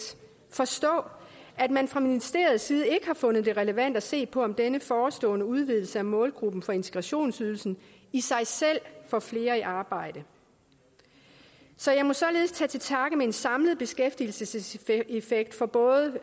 forstå at man fra ministeriets side ikke har fundet det relevant at se på om denne forestående udvidelse af målgruppen for integrationsydelsen i sig selv får flere i arbejde så jeg må således tage til takke med en samlet beskæftigelseseffekt for både